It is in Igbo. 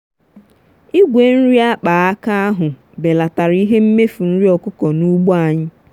igwe nri akpaaka ahụ belatara ihe mmefu nri ọkụkọ n'ugbo anyị.